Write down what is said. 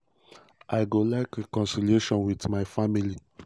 "i go like reconciliation wit my family.